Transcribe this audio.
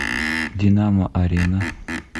динамо арена